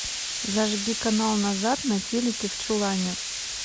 зажги канал назад на телике в чулане